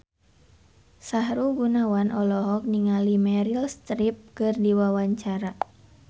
Sahrul Gunawan olohok ningali Meryl Streep keur diwawancara